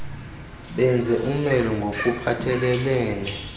benze umelo ngokuphathelelene